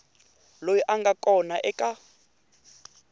loyi a nga kona eka